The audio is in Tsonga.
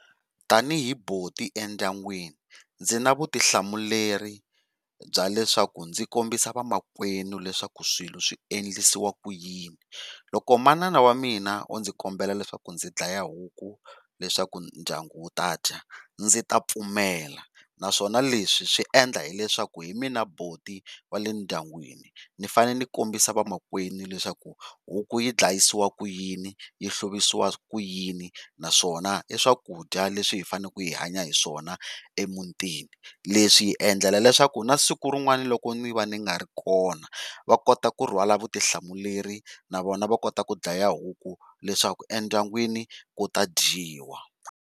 Tanihi buti endyangwini ndzi na vutihlamuleri bya leswaku ndzi kombisa vamakwerhu leswaku swilo swi endlisiwa ku yini, loko manana wa mina o ndzi kombela leswaku ndzi dlaya huku leswaku ndyangu wu tadya ndzi ta pfumela naswona leswi swi endla hileswaku hi mina buti wa le ndyangwini. Ndzi fanele kombisa vomakwerhu leswaku huku yi dlayisiwa ku yini, yi hluvisiwa ku yini naswona i swakudya leswi hi fanele ku hi hanya hi swona emutini leswi hi endlela leswaku na siku rin'wani loko ndzi va ndzi nga ri kona va kota kurhwala vutihlamuleri na vona va kota ku dlaya huku leswaku endyangwini ku ta dyiwa.